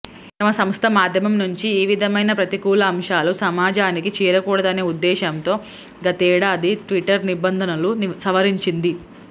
తమ సంస్థ మాధ్యమం నుంచి ఏ విధమైన ప్రతికూల అంశాలు సమాజానికి చేరకూడదనే ఉద్దేశంతో గతేడాది ట్విటర్ నిబంధనలను సవరించింది